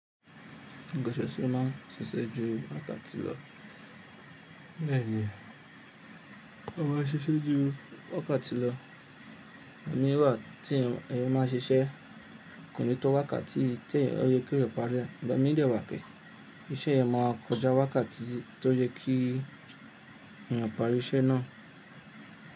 Ngoṣoṣo ma n ṣiṣẹ́ ju wákàtí lọ. Béèni, o ma ṣiṣẹ́ ju wákàtí lọ. Òmí wà tí ẹ ma n ṣiṣẹ́, kò ní tó wákàtí tó yẹ kí eyan pàri e Ìgbà mí de wà kí iṣẹ́ yen má kọjá wákàtí tó yẹ kí ẹ pàri iṣẹ́ náà.